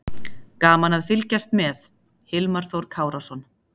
Gaman að fylgjast með: Hilmar Þór Kárason.